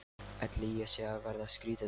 Ætli ég sé að verða skrýtin.